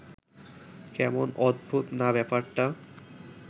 কেমন অদ্ভুত না ব্যাপারটা